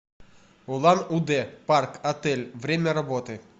улан удэ парк отель время работы